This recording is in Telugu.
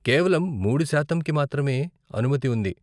కేవలం మూడు శాతంకి మాత్రమే అనుమతి ఉంది.